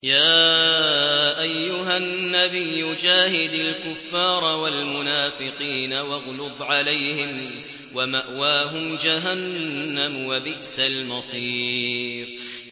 يَا أَيُّهَا النَّبِيُّ جَاهِدِ الْكُفَّارَ وَالْمُنَافِقِينَ وَاغْلُظْ عَلَيْهِمْ ۚ وَمَأْوَاهُمْ جَهَنَّمُ ۖ وَبِئْسَ الْمَصِيرُ